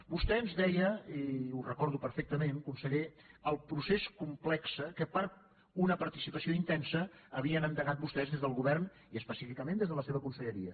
vostè ens deia i ho recordo perfectament conseller el procés complex que per a una participació intensa havien endegat vostès des del govern i específicament des de la seva conselleria